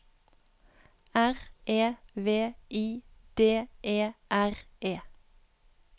R E V I D E R E